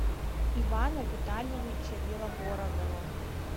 ивана витальевича белобородова